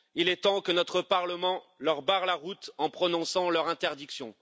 Il est temps que notre Parlement leur barre la route en prononçant leur interdiction.